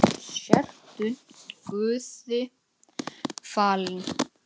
Sértu guði falin.